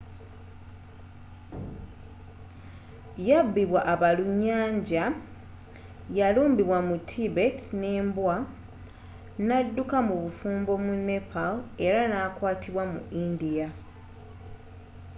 yabibwa abalunyanja yalumbibwa mu tibet ne mbwa n'adduka mu bufumbo mu nepal era n'akwatibwa mu india